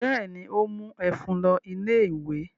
Bẹ́ẹ̀ ni, ó mú ẹ̀fún lọ ilé-ìwé.